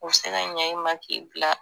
U bɛ se ka ɲɛ i ma k'i bila